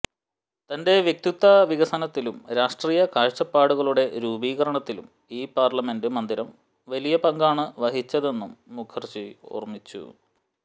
തൻെറ വ്യക്തിത്വ വികസനത്തിലും രാഷ്ട്രീ്യ കാഴ്ചപ്പാടുകളുടെ രൂപീകരണത്തിലും ഇൌ പാർലിമെൻറ് മന്ദിരം വലിയ പങ്കാണ് വഹിച്ചതെനന്നും മുഖർജി ഒാർമിച്ചു